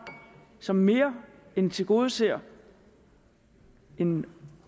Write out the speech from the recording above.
som mere end tilgodeser en